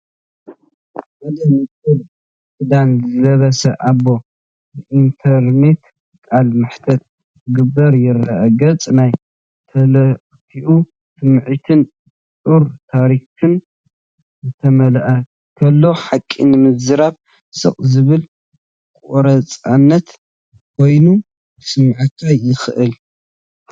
ሓደ ንጹር ክዳን ዝለበሰ ኣቦ ብኢንተርነት ቃለ መሕትት ክገብር ይረአ። ገጹ ናይ ተልእኾ ስምዒትን ጾር ታሪኽን ዝተመልአ፤ ኩሉ ሓቂ ንምዝራብ ስቕ ዝበለ ቆራጽነት ኮይኑ ክስመዓካ የኽእል።